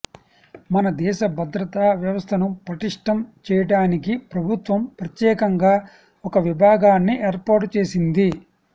మన దేశ భద్రతా వ్యవస్థను పటిష్టం చేయడానికి ప్రభుత్వం ప్రత్యేకంగా ఒక విభాగాన్ని ఏర్పాటు చేసింది